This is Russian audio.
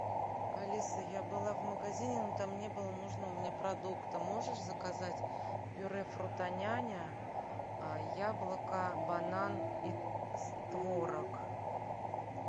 алиса я была в магазине но там не было нужного мне продукта можешь заказать пюре фрутоняня яблоко банан и творог